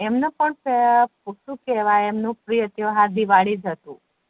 એમનો પ ખોટું કેહવાય એમનો પ્રિય તેહવાર દિવાળી જ હતુ